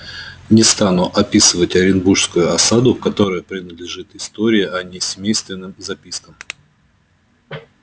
не стану описывать оренбургскую осаду которая принадлежит истории а не семейственным запискам